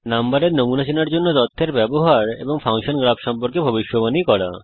নম্বরের নমুনা চেনার জন্যে তথ্যের ব্যবহার করা এবং ফাংশন গ্রাফ সম্পর্কে ভবিষ্যবাণী করা